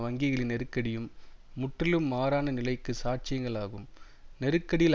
வங்கிகளின் நெருக்கடியும் முற்றிலும் மாறான நிலைக்கு சாட்சியங்கள் ஆகும் நெருக்கடியில்